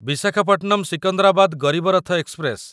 Visakhapatnam Secunderabad Garib Rath express